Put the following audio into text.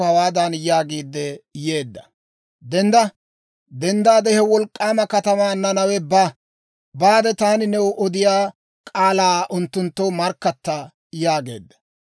«Dendda! He wolk'k'aama katamaa Nanawe ba; taani new odiyaa k'aalaa unttunttoo markkatta» yaageedda.